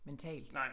Mentalt